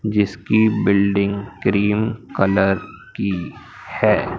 जिसकी building cream colour की है।